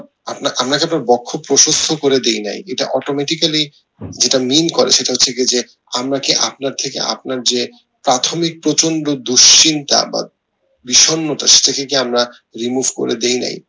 আপনা আপনাকে কে তো বক্ষ প্রশস্ত করে দি নাই এটা automatically যেটা mean করে সেটা হচ্ছে গিয়ে যে আমরা কি আপনার থেকে আপনার যে প্রাথমিক প্রচন্ড দুশ্চিন্তা বা বিষন্নতা সেটা কে কি আমরা remove করে দেয় নাই